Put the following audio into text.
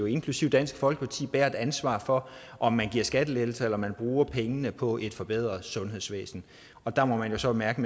inklusive dansk folkeparti bære et ansvar for om man giver skattelettelser eller man bruger pengene på et forbedret sundhedsvæsen og der må man jo så mærke